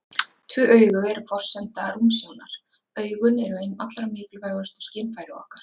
Tvö augu eru forsenda rúmsjónar Augun eru ein allra mikilvægustu skynfæri okkar.